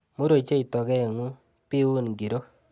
mur ochei tokeng'ung', biun kiro.